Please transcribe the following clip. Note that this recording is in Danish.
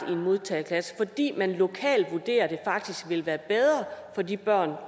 i en modtageklasse fordi man lokalt vurderer at det faktisk vil være bedre for de børn